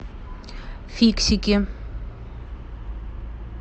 фиксики